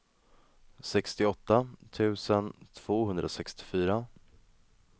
sextioåtta tusen tvåhundrasextiofyra